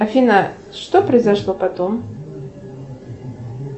афина что произошло потом